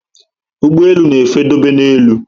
Ụgbọelu na efe dobe na élú